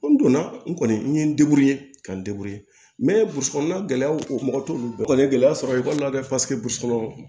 N donna n kɔni n ye n ka n kɔnɔna mɔgɔw t'olu dɔn kɔni ye gɛlɛya sɔrɔ ye walima dɛ kɔnɔ